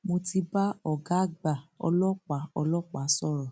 mo ti bá ọgá àgbà ọlọpàá ọlọpàá sọrọ